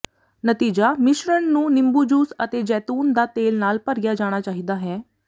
ਨਤੀਜਾ ਮਿਸ਼ਰਣ ਨੂੰ ਨਿੰਬੂ ਜੂਸ ਅਤੇ ਜੈਤੂਨ ਦਾ ਤੇਲ ਨਾਲ ਭਰਿਆ ਜਾਣਾ ਚਾਹੀਦਾ ਹੈ